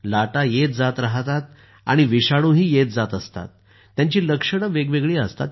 लाटा येत जात राहतात आणि विषाणुही येत जात असतात आणि त्यांची लक्षणं वेगवेगळी असतात